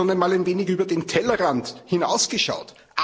Haben Sie schon einmal ein wenig über den Tellerrand hinausgeschaut?